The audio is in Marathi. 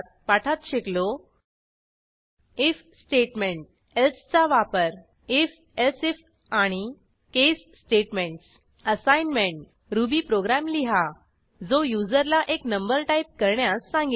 पाठात शिकलो आयएफ स्टेटमेंट elseचा वापर if एलसिफ आणि case statements assignment Ruby program लिहा जो युजरला एक नंबर टाईप करण्यास सांगेल